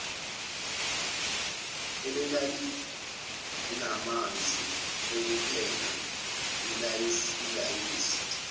elalinamanzi okupheka ilayisi